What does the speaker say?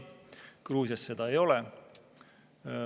Gruusias seda ei ole.